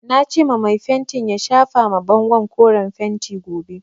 Nace ma mai fentin ya shafa ma bangon koren fentin gobe.